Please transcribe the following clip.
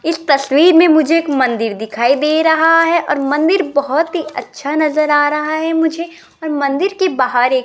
इस तस्वीर में मुझे एक मंदिर दिखाई दे रहा है और मंदिर बहोत ही अच्छा नजर आ रहा है मुझे और मंदिर के बाहर एक--